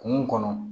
Kungo kɔnɔ